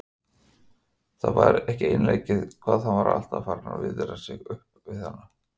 Það var ekki einleikið hvað hann var farinn að viðra sig mikið upp við hana.